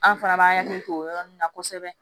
An fana b'an hakili to o yɔrɔ nun na kosɛbɛ